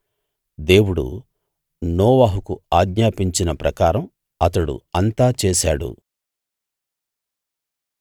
దేవుడు నోవహుకు ఆజ్ఞాపించిన ప్రకారం అతడు అంతా చేశాడు